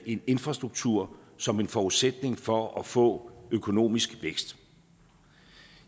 en infrastruktur som en forudsætning for at få økonomisk vækst